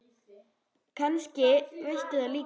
Kannski veistu líka svarið.